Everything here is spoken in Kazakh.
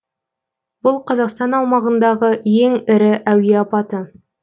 бұл қазақстан аумағындағы ең ірі әуе апаты